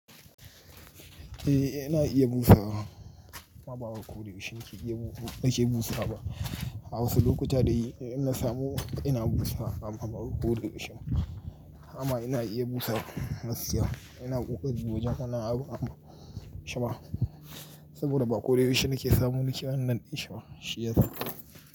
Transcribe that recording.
Eh ina iya busawa amma ba wai ba koda yaushe nake iya bu nake busa wa ba. A wasu lokuta dai ina samu ina busawa amma ba koda yaushe ba amma ina iya busa gaskiya. Ina ƙoƙari wajen hana abu amma shima saboda ba koda ysushe nake samu neke wannan ɗinshi ba shiyasa.